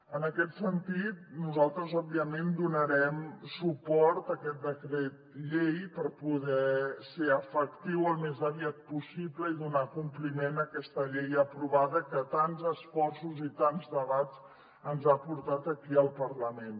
en aquest sentit nosaltres òbviament donarem suport a aquest decret llei per poder ser efectiu al més aviat possible i donar compliment a aquesta llei aprovada que tants esforços i tants debats ens ha portat aquí al parlament